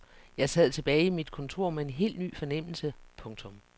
Jeg sad tilbage i mit kontor med en helt ny fornemmelse. punktum